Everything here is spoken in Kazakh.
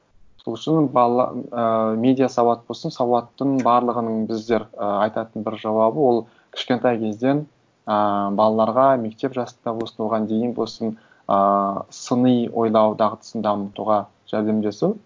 сол үшін і медиа сауат болсын сауаттың барлығының біздер ы айтатын бір жауабы ол кішкентай кезден ыыы балаларға мектеп жасында болсын оған дейін болсын ыыы сыни ойлау дағдысын дамытуға жәрдем жасау